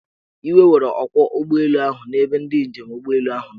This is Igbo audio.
Iwe were ọkwọụgbọelu ahu na ebe ndị njem ụgbọelu ahụ nọ.